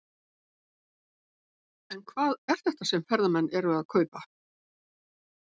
En hvað er þetta sem ferðamenn eru að kaupa?